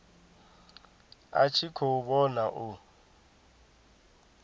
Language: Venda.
a tshi khou vhona u